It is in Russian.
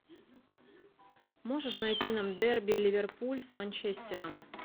можешь найти нам дерби ливерпуль с манчестером